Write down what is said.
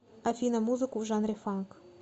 афина музыку в жанре фанк